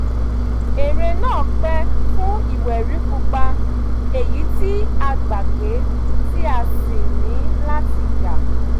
eré náà pè fún ìwé rí pupa èyí tí a gbàgbé tí a sì ní láti yá